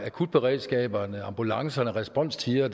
akutberedskaberne ambulancerne og responstider